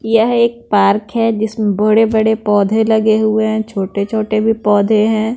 यह एक पार्क है जिसमें बड़े-बड़े पौधे लगे हुए हैं छोटे-छोटे भी पौधे है।